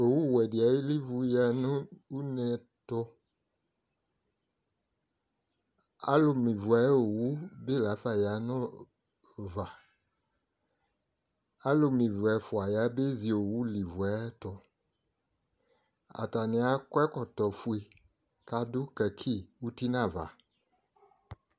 Owuwɛdɩ alivu ya nʋ une ɛtʋ : alʋ me ivu ayowu bɩ lafa ya nʋ ʋva Alʋme ivu ɛfʋa yabezi owu livue ayɛtʋ ; atanɩ akɔ ɛkɔtɔfue k'adʋ kaki uti n'ava